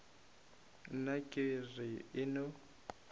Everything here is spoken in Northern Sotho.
nna ke re e no